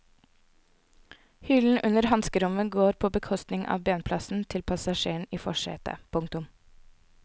Hyllen under hanskerommet går på bekostning av benplassen til passasjeren i forsetet. punktum